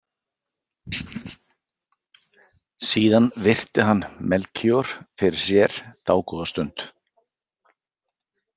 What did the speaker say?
Síðan virti hann Melkíor fyrir sér dágóða stund.